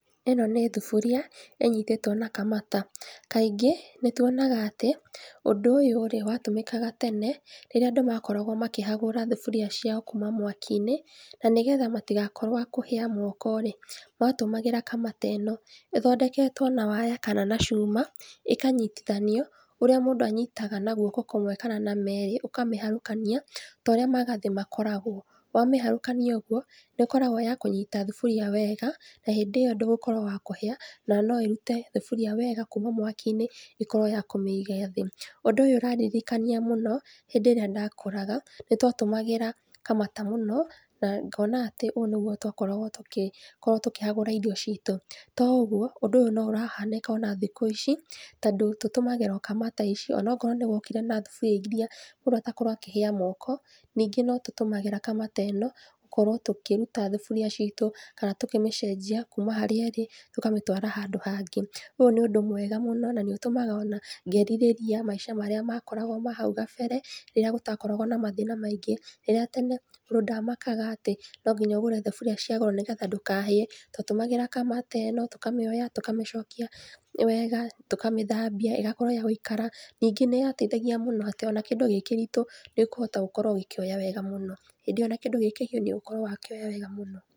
ĩno nĩ thuburia, ĩnyitĩtwo na kamata, kaingĩ, nĩtuonaga atĩ, ũndũ ũyũ-rĩ, watũmĩkaga tene rĩrĩa andũ makoragwo makĩhagũra thuburia ciao kuma mwaki-inĩ, nanĩgetha matigakorwo a kũhĩa moko-rĩ, matũmagĩra kamata ĩno, ĩthondeketwo na waya na cuuma, ĩkanyitithanio, ũrĩa mũndũ anyitaga na guoko kũmwe kana merĩ, ũkamĩharũkania, torĩa magathĩ makoragwo, wamĩharũkania ũguo, nĩũkoragwo ya kũnyita thuburia wega, na hĩndĩ ĩyo ndũgũkorwo wa kũhĩa, na noĩrute thaburia wega kuma mwaki-inĩ ĩkorwo ya kũmĩiga thĩ. ũndũ ũyũ ũrandirikania mũno, hĩndĩ ĩrĩa ndakũraga, nĩtwatũmagĩra kamata mũno, na ngona atĩ ũũ nĩguo twakoragwo tũkĩ, tũkĩhagũra irio citũ, to ũguo, ũndũ ũyũ noũrahanĩka ona thikũ ici, tondũ tũtũmagĩra o kamata onakorwo nĩgũokire na thaburia iria mũndũ atakoragwo akĩhĩa moko, ningĩ notũtũmagĩra kamata ĩno gũkorwo tũkĩruta thaburia citũ kana tũkĩmĩcenjia kuma harĩa ĩrĩ, tũkamĩtwara handũ hangĩ. Ũũ nĩ ũndũ mwega mũno na nĩũtũmaga ngerirĩria maica marĩa makoragwo hau kabere, rĩrĩa gũtakoragwo na mathĩna maingĩ, rĩrĩa tene, mũndũ ndamakaga atĩ, nonginya ũgũre thaburia cia goro, nĩgetha ndũkahĩe, twatũmagĩra kamata ĩno, tũkamĩoya, tũkamĩcokia wega, tũkamĩthambia, ĩgakorwo ya gũikara, ningĩ nĩyateithagia mũno atĩ kĩndũ ona kĩngĩkorwo gĩ kĩritũ, nĩũkũhota gũkorwo ũgĩoya wega mũno, hĩndĩ ĩyo ona kĩndu gĩ kĩritũ nĩũgũkorwo wakĩoya wega mũno.